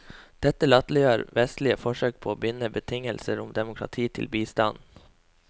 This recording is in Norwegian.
Dette latterliggjør vestlige forsøk på å binde betingelser om demokrati til bistand.